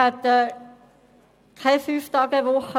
wir hätten keine Fünftagewoche;